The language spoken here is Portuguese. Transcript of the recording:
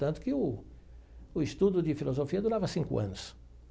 Tanto que o o estudo de filosofia durava cinco anos.